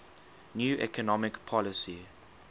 new economic policy